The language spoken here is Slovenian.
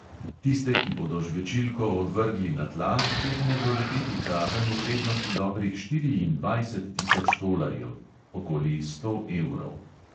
Tiste, ki bodo žvečilko odvrgli na tla, utegne doleteti kazen v vrednosti dobrih štiriindvajset tisoč tolarjev (okoli sto evrov).